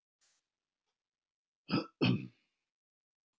Tryggva leist ekki á blikuna og þótti vissara að fylgja mér.